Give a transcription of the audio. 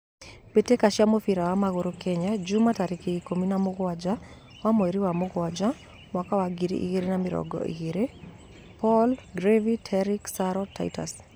Mbitika cia mũbira wa magũrũ Kenya jumaa tarĩki ikũmi na mũguanja wa mweri wa mũguanja mwaka wa ngiri ĩgirĩ na mĩrungũ igĩri: Paul, Garvey, Terrick, Saro, Titus